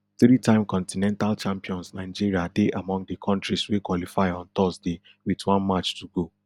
threetime continental champions nigeria dey among di kontris wey qualify on thursday wit one match to go